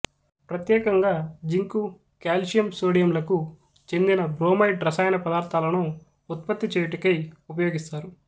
ప్రత్యేకంగా zinc calcium sodium లకు చెందిన బ్రోమైడ్ రసాయన పదార్థాలను ఉత్పత్తి చెయ్యుటకై ఉపయోగిస్తారు